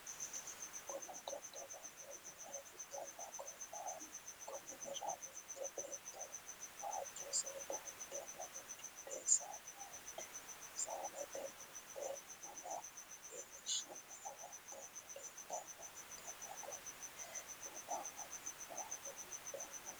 bunna dadalanni minne ikanna kominira mitte beeto waajo seeda udanno udidhe saannete worite bunna iilishanni afanitanno leelitannoha ikanna konne bunna angannihu hidhineti